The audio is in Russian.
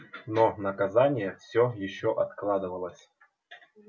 но наказание всё ещё откладывалось